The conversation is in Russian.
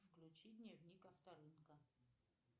включи дневник авторынка